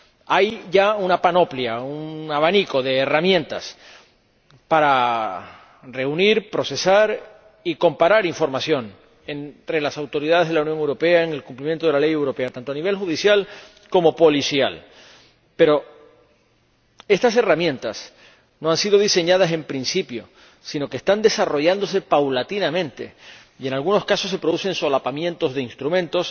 Hay ya una panoplia, un abanico de herramientas para reunir, procesar y comparar información entre las autoridades de la Unión Europea en el cumplimiento de la Ley europea, tanto a nivel judicial como policial, pero estas herramientas no fueron diseñadas desde un principio, sino que están desarrollándose paulatinamente y, en algunos casos, se producen solapamientos de instrumentos,